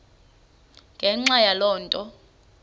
ngenxa yaloo nto